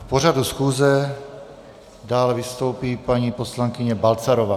K pořadu schůze dále vystoupí paní poslankyně Balcarová.